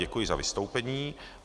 Děkuji za vystoupení.